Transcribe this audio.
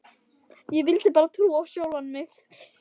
Ég vildi bara trúa á sjálfa mig.